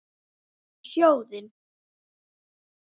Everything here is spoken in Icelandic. Um sjóðinn